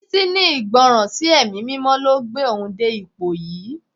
Títí ní Ìgbọràn sí ẹ̀mí mímọ́ ló gbé òun dé ipò yìí.